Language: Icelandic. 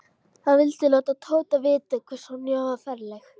Hann vildi láta Tóta vita hvað Sonja var ferleg.